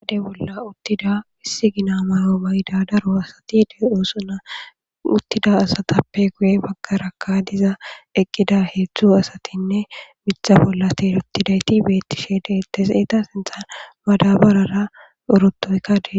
Oyde bolla uttida isssi gina mayo mayida asati de'osona. Ha uttida asatapeka guye baggara eqqidi diza asati miththa bolla teenotidayti beetishe deetees. Eeta sinthan madabarara orotoyka dees.